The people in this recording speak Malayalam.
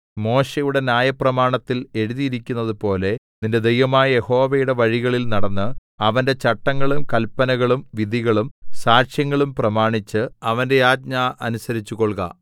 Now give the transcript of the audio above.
മോശെയുടെ ന്യായപ്രമാണത്തിൽ എഴുതിയിരിക്കുന്നതുപോലെ നിന്റെ ദൈവമായ യഹോവയുടെ വഴികളിൽ നടന്ന് അവന്റെ ചട്ടങ്ങളും കല്പനകളും വിധികളും സാക്ഷ്യങ്ങളും പ്രമാണിച്ച് അവന്റെ ആജ്ഞ അനുസരിച്ചുകൊൾക